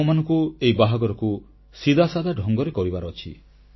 ଆମମାନଙ୍କୁ ଏହି ବାହାଘରକୁ ସିଧାସାଧା ଢଙ୍ଗରେ କରିବାର ଅଛି